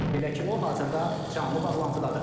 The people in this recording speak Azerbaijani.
Belə ki, o hazırda canlı bağlantıdadır.